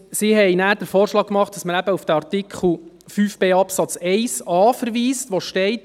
Sie machten den Vorschlag, dass man auf den Artikel 5b Absatz 1a verweist, in welchem steht: